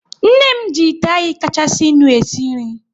Nne m ji ite anyị kachasinu e si nri